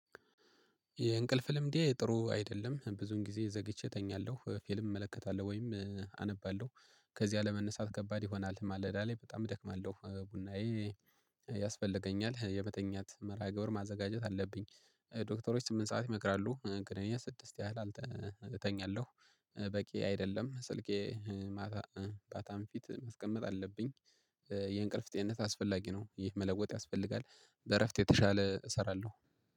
የእንቅልፍ ልምዴ ጥሩ አይደለም ብዙን ጊዜ ዘግይቼ እተኛለሁ ፊልም እመለከታለሁ ወይም አነባለሁ ከዚህ አለመነሳት ከባድ ይሆናል ማለዳ ላይ በጣም እደክማለሁ ቡናዬ ያስፈልገኛል የመተኛት መርሃ ግብር ማዘጋጀት አለብኝ። ዶክተሮች ስምንት ሰዓት ይመክራሉ ግን እኔ ስድስት ያህል አል እተኛለሁ። በቂ አይደለም ስልኬ ማታም ፊት ማስቀመጥ አለብኝ። የእንቅልፍ ጤንነት አስፈላጊ ነው ይህ መለወጥ ያስፈልጋል በእረፍት የተሻለ እሰራለሁ።